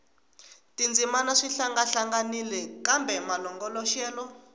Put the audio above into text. tindzimana swi hlangahlanganile kambe malongoloxelo